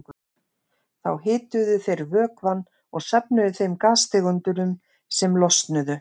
Þá hituðu þeir vökvann og söfnuðu þeim gastegundum sem losnuðu.